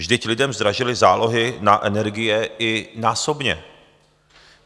Vždyť lidem zdražily zálohy na energie i násobně.